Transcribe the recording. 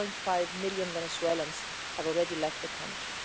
1.5 million Venezuelans have already left the country.